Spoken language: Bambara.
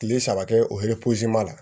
Kile saba kɛ o la